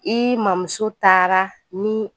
I mamuso taara ni